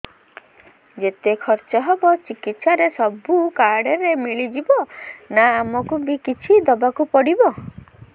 ଯେତେ ଖର୍ଚ ହେବ ଚିକିତ୍ସା ରେ ସବୁ କାର୍ଡ ରେ ମିଳିଯିବ ନା ଆମକୁ ବି କିଛି ଦବାକୁ ପଡିବ